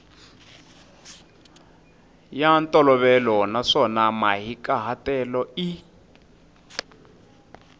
ya ntolovelo naswona mahikahatelo i